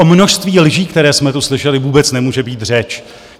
O množství lží, které jsme tu slyšeli, vůbec nemůže být řeč.